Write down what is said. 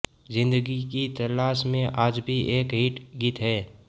जिंदगी की तलाश में आज भी एक हिट गीत है